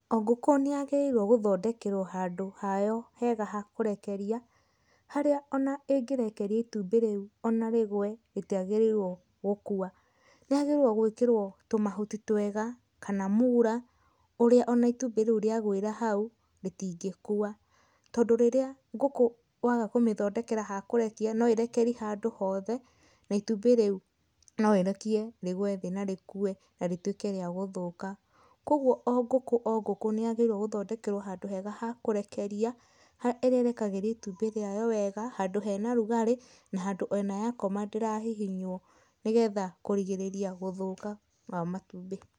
O ngũkũ nĩ yagĩrĩirwo gũthondekerwo handũ hayo hega ha kũrekeria, harĩa ona ĩngĩrekeria itumbĩ rĩu ona rĩgwe rĩtiagĩrĩirwo gũkua. Nĩ yagĩrĩirwo gwĩkĩrwo tũmahuti twega kama mura, ũrĩa ũna itumbĩ rĩu rĩa gwĩra hau, rĩtingĩkua. Tondũ rĩrĩa ngũkũ waga kũmĩthondekera ha kũrekia no ĩrekerie handũ hothe, na itumbĩ rĩu, no ĩrekie rĩgwe thĩ na rĩkue na rĩtuĩke rĩa gũthũka. Kogwo o ngũkũ o ngũkũ nĩ yagĩrĩirwo gũthondekerwo handũ hega ha kũrekeria, harĩa ĩrĩrekageria ĩtumbĩ rĩayo wega, handũ hena ũrugarĩ, na handũ ona yakoma ndĩrahihinywo nĩgetha kũrigĩrĩria gũthũka kwa matumbĩ.